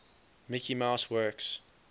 mickey mouse works